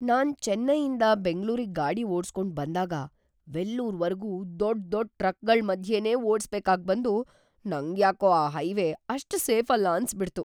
ನಾನ್ ಚೆನ್ನೈಯಿಂದ ಬೆಂಗ್ಳೂರಿಗ್‌ ಗಾಡಿ ಓಡ್ಸ್ಕೊಂಡ್‌ ಬಂದಾಗ ವೆಲ್ಲೂರ್‌ವರ್ಗೂ ದೊಡ್ ದೊಡ್ ಟ್ರಕ್‌ಗಳ್‌ ಮಧ್ಯೆನೇ ಓಡ್ಸ್‌ಬೇಕಾಗ್ಬಂದು ನಂಗ್ಯಾಕೋ ಆ ಹೈವೇ ಅಷ್ಟ್‌ ಸೇಫಲ್ಲ ಅನ್ಸ್‌ಬಿಡ್ತು.